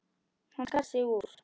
Hann skar sig úr.